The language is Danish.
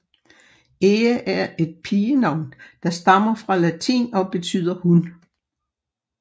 Ea er et pigenavn der stammer fra latin og betyder hun